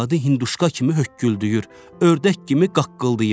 Arvadı hinduşka kimi hökküldüyür, ördək kimi qaqqıldayır.